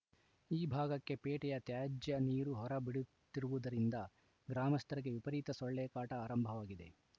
ಈ ಭಾಗಕ್ಕೆ ಪೇಟೆಯ ತ್ಯಾಜ್ಯ ನೀರು ಹೊರಬಿಡುತ್ತಿರುವುದರಿಂದ ಗ್ರಾಮಸ್ಥರಿಗೆ ವಿಪರೀತ ಸೊಳ್ಳೆ ಕಾಟ ಆರಂಭವಾಗಿದೆ